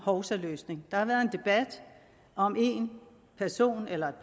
hovsaløsninger der har været en debat om en person eller